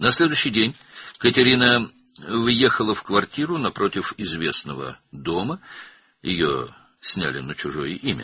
Növbəti gün Katerina məşhur evin qarşısındakı mənzilə köçdü, o mənzil başqasının adına kirayə götürülmüşdü.